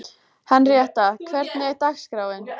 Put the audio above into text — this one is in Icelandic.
Henríetta, hvernig er dagskráin?